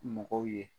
Mɔgɔw ye